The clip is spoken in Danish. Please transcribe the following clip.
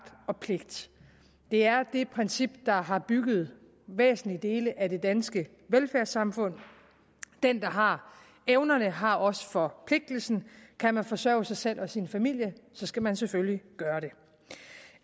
og pligt det er det princip der har bygget væsentlige dele af det danske velfærdssamfund den der har evnerne har også forpligtelsen kan man forsørge sig selv og sin familie så skal man selvfølgelig gøre det